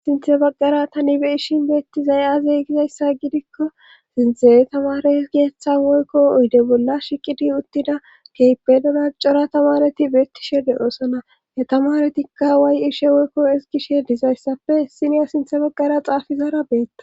sinthe baggara tani be ishin beettizay azey gizayssa gidikko sinthe tamare geeththa woykko oyde bolla shiqidi uttida keypedona cora tamareti beettishe de7oosana yetamaretikka waay ishe woykko isgishe dizayssappe issiniya sinthe baggara xaafizaara beetta